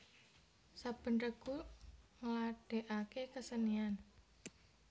Saben regu ngladèkaké kesenian